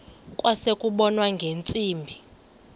kwase kubonwa ngeentsimbi